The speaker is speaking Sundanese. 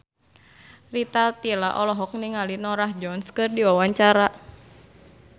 Rita Tila olohok ningali Norah Jones keur diwawancara